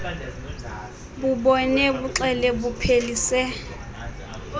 bubone buxele buphelise